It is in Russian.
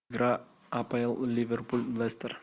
игра апл ливерпуль лестер